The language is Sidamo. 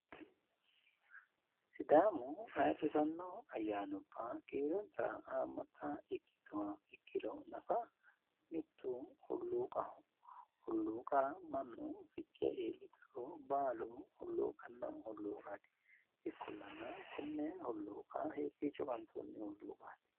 Sidaamu ayirrisanno ayyaannubba kiironsa haammata ikkituha ikkiro nafa mittu hulluuqaho. Hulluuqa mannu fichee iillituro baalu hulluqanno hulluuqaati. Ikkollana konne hulluuqa hiikkiicho qansoonni hulluuqaati?